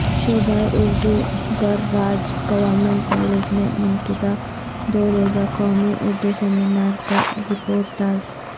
شعبہ اردو گر راج گورنمنٹ کالج میں منعقدہ دوروزہ قومی اردو سمینار کا رپورتاژ